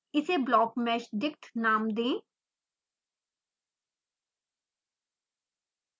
इसे blockmeshdict नाम दें